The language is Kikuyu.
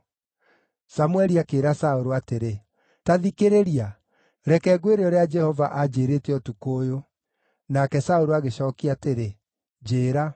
Samũeli akĩĩra Saũlũ atĩrĩ, “Ta thikĩrĩria! Reke ngwĩre ũrĩa Jehova anjĩĩrĩte ũtukũ ũyũ.” Nake Saũlũ agĩcookia atĩrĩ, “Njĩĩra.”